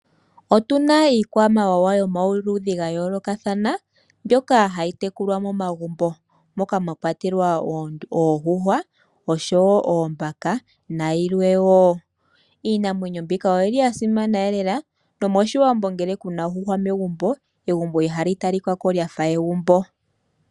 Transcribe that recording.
Otuna iikwamawawa yomaludhi ga yoolokathana mbyoka hayi tekulwa momagumbo, moka mwa kwatelwa oondjuhwa osho wo oombaka na yilwe wo. Iinamwenyo mbika oyili ya simana lela nomOshiwambo ngele kuna ondjuhwa megumbo, egumbo ihali talika ko lyafa egumbo.